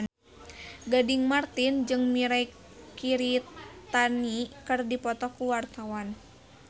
Gading Marten jeung Mirei Kiritani keur dipoto ku wartawan